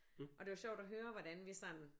Og det var sjovt at høre hvordan vi sådan